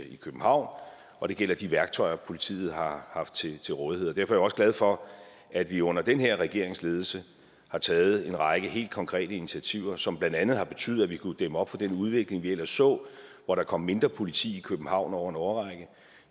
københavn og det gælder de værktøjer politiet har haft til til rådighed derfor er jeg også glad for at vi under den her regerings ledelse har taget en række helt konkrete initiativer som blandt andet har betydet at vi kunne dæmme op for den udvikling vi ellers så hvor der kom mindre politi i københavn over en årrække